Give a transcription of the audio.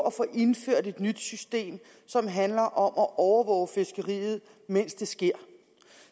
at få indført et nyt system som handler om at overvåge fiskeriet mens det sker